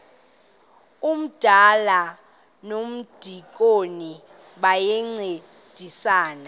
umdala nomdikoni bayancedisana